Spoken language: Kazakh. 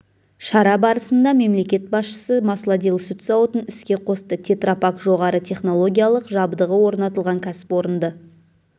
шара барысында мемлекет басшысы маслодел сүт зауытын іске қосты тетра пак жоғары технологиялық жабдығы орнатылған кәсіпорынды